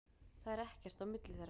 Það er ekkert á milli þeirra.